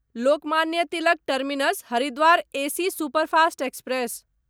Lokmanya Tilak terminus Haridwar AC superfast express